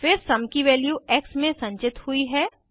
फिर सुम की value x में संचित हुई है